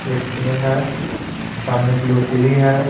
एक पेड़ है सामने की ओर सीडी है.